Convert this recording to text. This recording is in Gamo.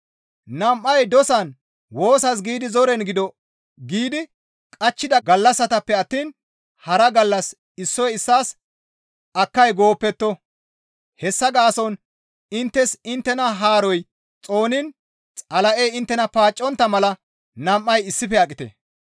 Nam7ay dosan woosas giidi zoren gido giidi qachchida gallassatappe attiin hara gallas issoy issaas akkay gooppetto; hessa gaason inttes inttena haaroy xooniin Xala7ey inttena paaccontta mala nam7ay issife aqite.